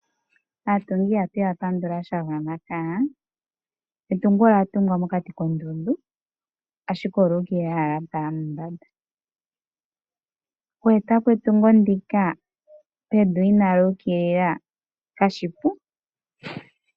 Aatungi ihatu ya pandula sha gwana. Etungo olya tungwa mokati koondundu, ashike olya ukilila owala lya tala mombanda. Oku eta po etungo ndika pevi inaali ukilila kashi shi oshipu.